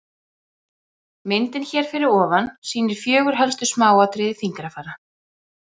Myndin hér fyrir ofan sýnir fjögur helstu smáatriði fingrafara.